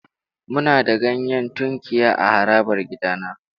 Muna da ganyen tunkiya a harabar gidana.